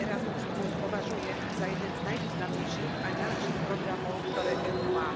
Program Erasmus považujem za jeden z najvýznamnejších a najlepších programov, ktoré EÚ má.